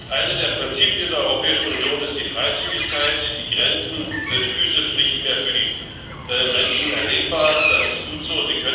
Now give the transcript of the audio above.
Eines der Prinzipien der Europäischen Union ist die Freizügigkeit die Grenzen sind physisch nicht mehr für die Menschen erlebbar, das ist gut so.